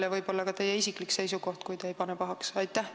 Ja võib-olla ütlete ka oma isikliku seisukoha, kui te pahaks ei pane.